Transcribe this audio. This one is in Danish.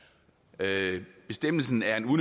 der stemmes